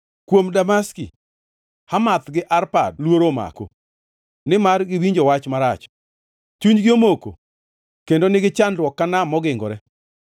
Kuom Damaski: “Hamath gi Arpad luoro omako, nimar giwinjo wach marach, chunygi omoko, kendo nigi chandruok ka nam mogingore.